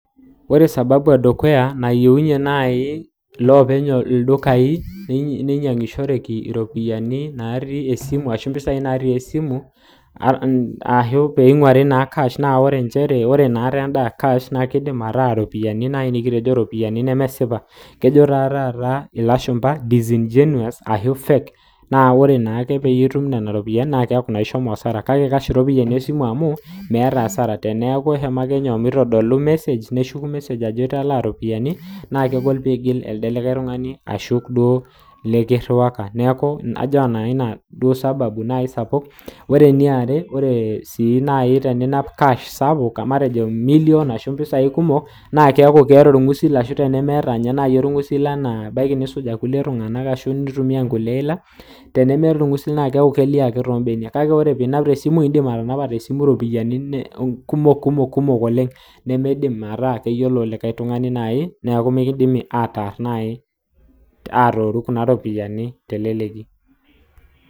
Ore osababu edukuya neyeunye nai loopeny ldukai neinyangushoreki iropiyiani natii esimu ashu mpisai natii esimu ashu peinguari naa kaash, naa ore inakata enda ekash naa keidim ataa iropiyiani nai nikitejo iropiyiani nemesipa, kejo taa taata iloshumba[disingenuous naa ore naake peetumi nena iropiyiani naa keaku na ishomo asara, kake ore enkoitoi esimu amuu meata asara teneaku ake eshomoinyi, meitodolu ilmesej neshuku ilmesej ajo italiano iropiyiani naa kegol oeigil alde likae tungani ashu duo likiruaku naaku ajo nanu, nai nanu ina duo osababu nai sapuk. Ore neare, ore sii nani tenias kaash sapuk metejo milion ashu mbisai kumok naa keaku kear inguesi ashu tenimieta ninye nai olguesi tanaa abaki nikisuj ilkule tunganak ashu nintumiya nkule ila tenemeeta ilnguesi neaku keilioo ake too imbenia kale ore piinap te esimu indim atanapa te esimu iropiyiani kumok, kumok oleng nemeidim metaa keyiolo likae tungani nai neaku mikindimi ataar nai aar ooru naa kuna iropiyiani te leleki.